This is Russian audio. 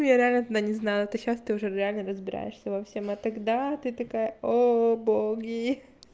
ну я реально тогда не знаю ты сейчас то уже реально разбираешься во всем и тогда ты такая о боги